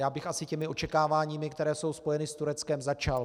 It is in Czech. Já bych asi těmi očekáváními, která jsou spojena s Tureckem, začal.